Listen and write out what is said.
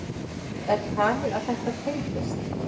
Er talið að þetta tengist?